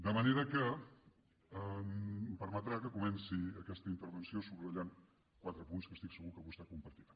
de manera que em permetrà que comenci aquesta intervenció subratllant quatre punts que estic segur que vostè compartirà